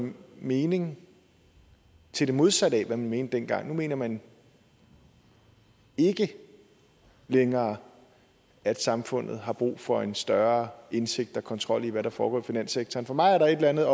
mening til det modsatte af hvad man mente dengang nu mener man ikke længere at samfundet har brug for en større indsigt i og kontrol af hvad der foregår i finanssektoren for mig er der et eller andet